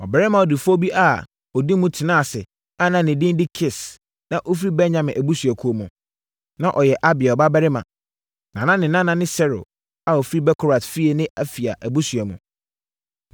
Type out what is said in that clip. Ɔbarima ɔdefoɔ bi a ɔdi mu tenaa ase a na ne din de Kis na ɔfiri Benyamin abusuakuo mu. Na ɔyɛ Abiel babarima, na ne nana ne Seror a ɔfiri Bekorat fie ne Afia abusua mu.